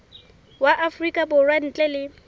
wa afrika borwa ntle le